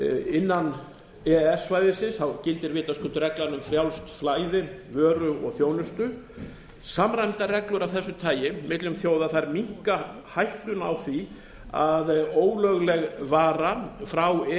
innan e e s svæðisins gildir vitaskuld reglan um frjálst flæði vöru og þjónustu samræmdar reglur af þessu tagi milli þjóða minnka hættuna á því að ólögleg varan frá e